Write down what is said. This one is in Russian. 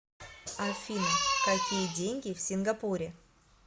афина какие деньги в сингапуре